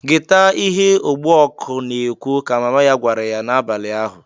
"Geta ihe ogbu ọkụ na-ekwu!" ka mama ya gwara ya n'abali ahụ.